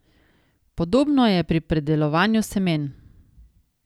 Podobno je pri pridelovanju semen.